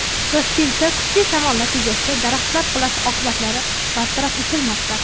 Toshkentda kuchli shamol natijasida daraxtlar qulashi oqibatlari bartaraf etilmoqda.